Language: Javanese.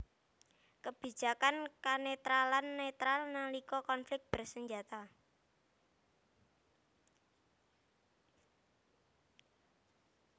Kebijakan kenetralan netral nalika konflik bersenjata